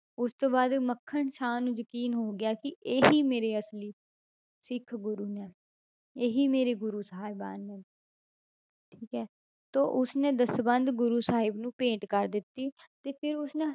ਉਸ ਤੋਂ ਬਾਅਦ ਮੱਖਣ ਸ਼ਾਹ ਨੂੰ ਯਕੀਨ ਹੋ ਗਿਆ ਕਿ ਇਹੀ ਮੇਰੇ ਅਸਲੀ ਸਿੱਖ ਗੁਰੂ ਨੇ, ਇਹੀ ਮੇਰੇ ਗੁਰੂ ਸਾਹਿਬਾਨ ਨੇ ਠੀਕ ਹੈ ਤਾਂ ਉਸ ਨੇ ਦਸਵੰਧ ਗੁਰੂ ਸਾਹਿਬ ਨੂੰ ਭੇਟ ਕਰ ਦਿੱਤੀ ਤੇ ਫਿਰ ਉਸਨੇ